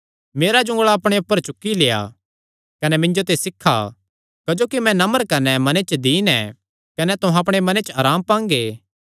मेरा जुंगल़ा अपणे ऊपर चुक्की लेआ कने मिन्जो ते सीखा क्जोकि मैं नम्र कने मने च दीन ऐ कने तुहां अपणे मने च अराम पांगे